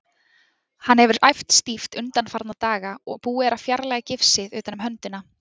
Hann hefur æft stíft undanfarna daga og búið er að fjarlæga gifsið utan um höndina.